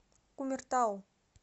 кумертау